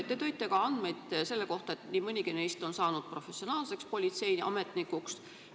Te tõite ka andmeid selle kohta, et nii mõnigi neist on saanud professionaalseks politseiametnikuks.